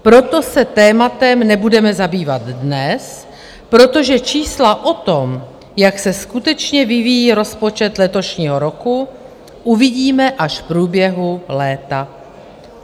Proto se tématem nebudeme zabývat dnes, protože čísla o tom, jak se skutečně vyvíjí rozpočet letošního roku, uvidíme až v průběhu léta."